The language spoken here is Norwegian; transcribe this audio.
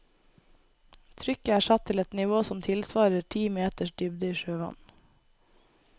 Trykket er satt til et nivå som tilsvarer ti meters dybde i sjøvann.